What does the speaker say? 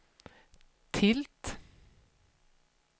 tilt